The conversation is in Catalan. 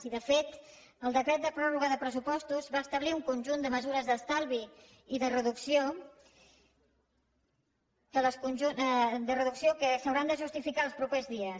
i de fet el decret de pròrroga de pressupostos va establir un conjunt de mesures d’estalvi i de reducció que s’hauran de justificar els propers dies